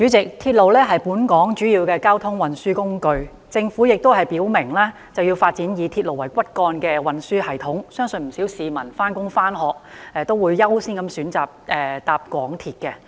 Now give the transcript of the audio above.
主席，鐵路是本港主要的交通運輸工具，政府亦已表明要發展以鐵路為骨幹的運輸系統，相信不少上班和上學的市民均會優先選擇乘搭港鐵。